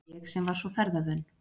Ég sem var svo ferðavön.